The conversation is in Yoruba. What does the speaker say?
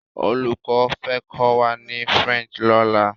Oluko fẹ́ kọ́ wá ni French lọ́la.